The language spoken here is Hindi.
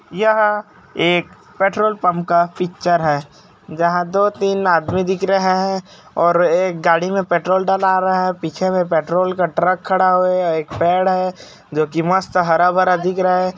यह एक पेट्रोल पम्प का पिक्चर है जहाँ दो तीन आदमी दिख रहे है और एक गाड़ी में पेट्रोल डला रहा है पीछे में पेट्रोल का ट्रक खड़ा हुआ है एक पेड़ है जोकि मस्त हरा-भरा दिख रहा है।